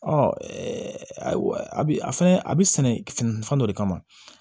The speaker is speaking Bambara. Ɔ a bi fɛnɛ a bi sɛnɛ fɛn dɔ de kama